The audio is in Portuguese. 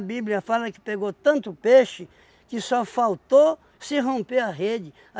Bíblia fala que pegou tanto peixe que só faltou se romper a rede.